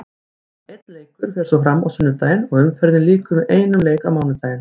Einn leikur fer svo fram á sunnudaginn og umferðinni lýkur með einum leik á mánudaginn.